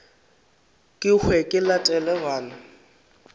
ke hwe ke latele bana